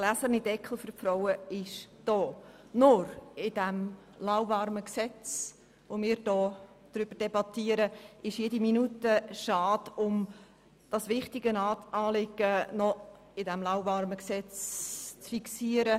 Nur ist mir in diesem lauwarmen Gesetz jede Minute zu schade, um das wichtige Anliegen noch zu fixieren.